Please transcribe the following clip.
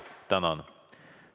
Tänan!